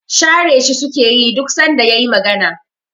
Share shi sukeyi duk sanda yayi magana